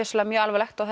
mjög alvarlegt og